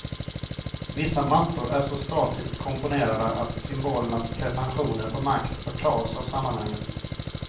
Vissa mattor är så statiskt komponerade att symbolernas pretentioner på makt förtas av sammanhanget.